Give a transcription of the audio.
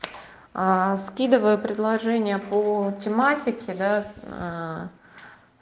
скидываю предложение по тематике да